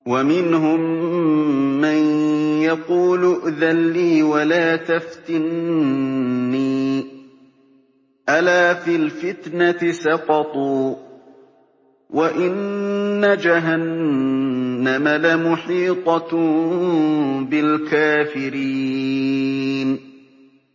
وَمِنْهُم مَّن يَقُولُ ائْذَن لِّي وَلَا تَفْتِنِّي ۚ أَلَا فِي الْفِتْنَةِ سَقَطُوا ۗ وَإِنَّ جَهَنَّمَ لَمُحِيطَةٌ بِالْكَافِرِينَ